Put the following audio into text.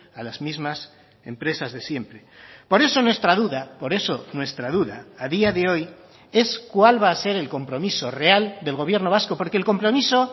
a las mismas empresas de siempre por eso nuestra duda por eso nuestra duda a día de hoy es cuál va a ser el compromiso real del gobierno vasco porque el compromiso